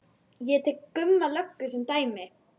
Ég tek Gumma löggu sem dæmi.